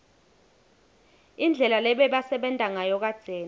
indlela lebebasebenta ngayo kadzeni